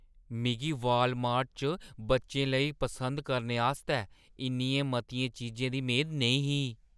मिगी वालमार्ट च बच्चें लेई पसंद करने आस्तै इन्नियें मतियें चीजें दी मेद नेईं ही।